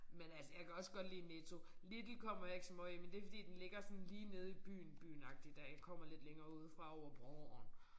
Men altså jeg kan også godt lide Netto. Lidl kommer jeg ikke så meget i men det fordi den ligger sådan lige nede i byen byen agtig der jeg kommer lidt længere ude fra over broen